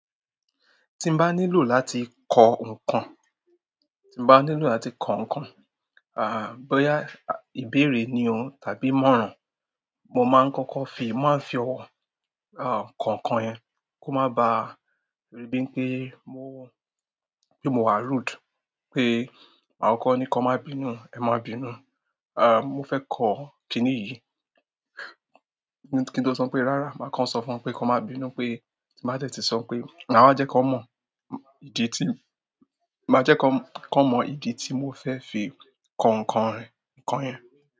Ti n baa nílò láti ko nkan, ti n baa nílò láti ko nkan boya ibere ni tàbí ìmọ̀ràn mo maa n koko fi ko nkan yen ko maa ba ri bi n pe pé mo wà rude, pé àwọn kan ní kan máa bínú, ẹ má bínú, ah, mo fẹ́ kọ kiní yìí. Kí n tó sọ pé rárá, màá kọ sọ fún won pé kan má bínú pé tí màá dẹ́tí sọ pé, màá wa jẹ́ kí wọn mọ ìdí tí, màá jẹ́ kí wọ́n mọ ìdí tí mo fẹ fi kọ ǹkan, ǹkan yẹn.